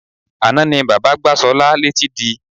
Àná ni bàbá gbá Sola létí di.